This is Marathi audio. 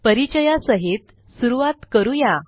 परिचयासहित सुरूवात करू या